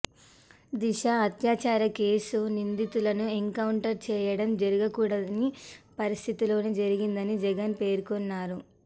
దిశ హత్యాచార కేసు నిందితులను ఎన్కౌంటర్ చేయడం జరగకూడని పరిస్థితిలోనే జరిగిందని జగన్ పేర్కొన్నారు